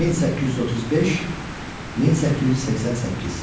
1835-1888.